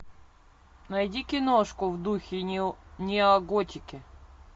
найди киношку в духе неоготики